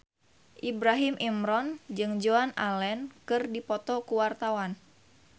Ibrahim Imran jeung Joan Allen keur dipoto ku wartawan